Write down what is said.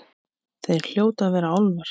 Hér hljóta að vera álfar.